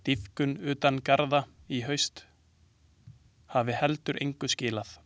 Dýpkun utan garða í haust hafi heldur engu skilað.